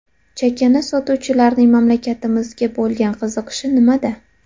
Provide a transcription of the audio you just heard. Chakana sotuvchilarning mamlakatimizga bo‘lgan qiziqishi nimada?